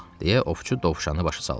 – deyə ovçu dovşanı başa saldı.